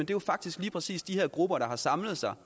jo faktisk lige præcis de her grupper der har samlet sig